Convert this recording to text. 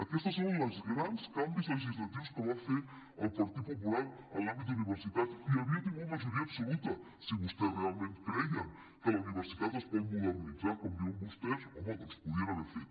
aquests són els grans canvis legisla·tius que va fer el partit popular en l’àmbit d’universitats i havia tingut majoria ab·soluta si vostès realment creien que la universitat es pot modernitzar com diuen vostès home doncs ho podien haver fet